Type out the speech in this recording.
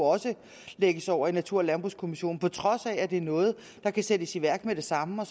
lægges over i natur og landbrugskommissionen på trods af at det er noget der kan sættes i værk med det samme